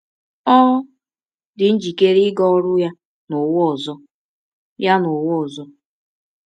Ọ dị njikere ịga ọrụ ya n’ụwa ọzọ. ya n’ụwa ọzọ.